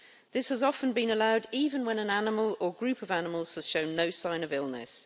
This has often been allowed even when an animal or group of animals has shown no sign of illness.